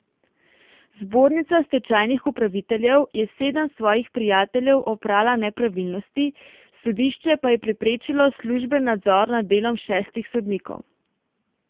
Zbornica stečajnih upraviteljev je sedem svojih prijateljev oprala nepravilnosti, sodišče pa je preprečilo služben nadzor nad delom šestih sodnikov.